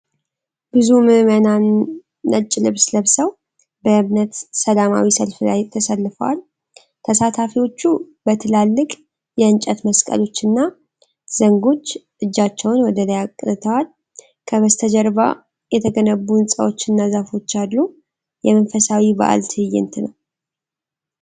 ብዙ ምእመናን ነጭ ልብስ ለብሰው በእምነት ሰላማዊ ሰልፍ ላይ ተሰልፈዋል። ተሳታፊዎቹ በትላልቅ የእንጨት መስቀሎችና ዘንጎች እጃቸውን ወደ ላይ አቅንተዋል። ከበስተጀርባ የተገነቡ ሕንጻዎችና ዛፎች አሉ። የመንፈሳዊ በዓል ትዕይንት ነው።